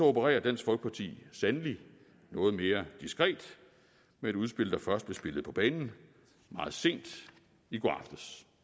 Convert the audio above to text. opererer dansk folkeparti sandelig noget mere diskret med et udspil der først blev spillet på banen meget sent i går aftes